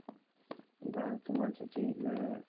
বা তোমার যদি আ~